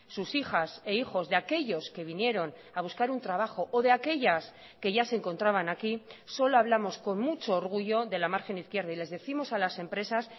sus hijas e hijos de aquellos que vinieron a buscar un trabajo o de aquellas que ya se encontraban aquí solo hablamos con mucho orgullo de la margen izquierda y les décimos a las empresas